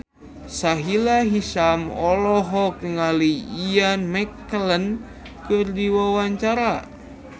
Sahila Hisyam olohok ningali Ian McKellen keur diwawancara